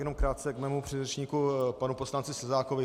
Jenom krátce k mému předřečníku panu poslanci Plzákovi.